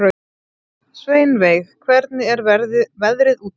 Sveinveig, hvernig er veðrið úti?